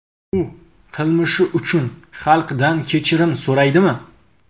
U qilmishi uchun xalqdan kechirim so‘raydimi?